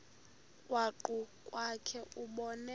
krwaqu kwakhe ubone